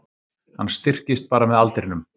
Hann styrkist bara með aldrinum